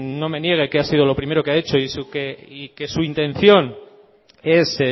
no me niegue que ha sido lo primero que ha hecho y que su intención es